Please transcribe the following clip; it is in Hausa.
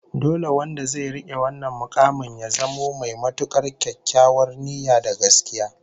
Dole wanda zai rike wannan mukamin ya zamo mai matukar kyakkyawar niyya da gaskiya